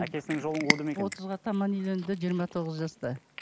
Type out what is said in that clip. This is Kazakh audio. әкесінің жолын қуды ма екен отызға таман үйленді жиырма тоғыз жаста